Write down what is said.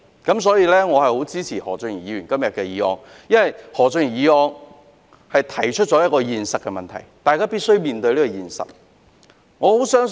因此，我十分支持何俊賢議員今天動議的議案，因為他的議案指出了一個現實問題，是大家必須面對的。